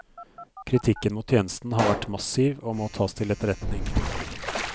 Kritikken mot tjenesten har vært massiv og må tas til etterretning.